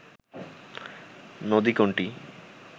নদী কোনটি